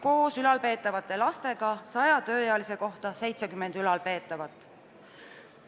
Koos ülalpeetavate lastega on iga 100 tööealise inimese kohta 70 ülalpeetavat.